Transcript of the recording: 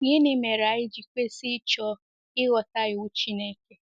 Gịnị mere anyị ji kwesị ịchọ ịghọta iwu Chineke?